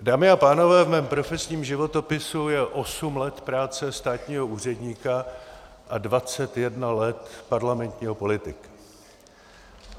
Dámy a pánové, v mém profesním životopisu je osm let práce státního úředníka a dvacet jedna let parlamentního politika.